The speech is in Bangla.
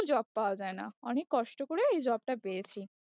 job পাওয়া যায় না, অনেক কষ্ট করে এই job টা পেয়েছি।